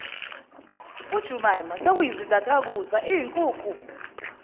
ujumaima sekuyizintathakusa izinkukhu